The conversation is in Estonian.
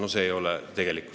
No see ei ole tegelikkus.